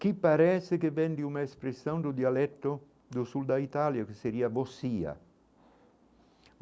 Que parece que vem de uma expressão do dialeto do sul da Itália, o que seria.